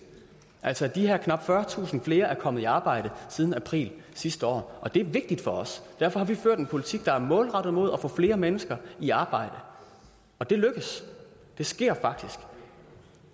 altså at de her knap fyrretusind flere er kommet i arbejde siden april sidste år det er vigtigt for os og derfor har vi ført en politik der er målrettet mod at få flere mennesker i arbejde og det er lykkedes det sker faktisk